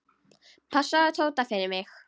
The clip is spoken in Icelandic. Passaðu Tóta fyrir mig.